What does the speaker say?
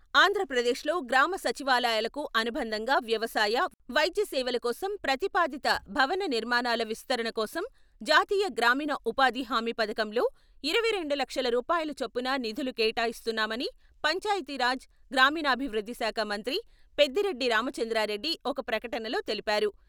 ఆంధ్రప్రదేశ్లో గ్రామ సచివాలయాలకు అనుబంధంగా వ్యవసాయ, వైద్య సేవల కోసం ప్రతిపాదిత భవన నిర్మాణాల విస్తరణ కోసం జాతీయ గ్రామీణ ఉపాధి హామీ పథకంలో ఇరవై రెండు లక్షల రూపాయల చొప్పున నిధులు కేటాయిస్తున్నామని పంచాయతీరాజ్, గ్రామీణాభివృద్ధిశాఖ మంత్రి పెద్దిరెడ్డి రామచంద్రారెడ్డి ఒక ప్రకటనలో తెలిపారు.